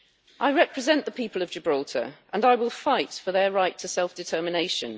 I represent the people of Gibraltar and I will fight for their right to self-determination.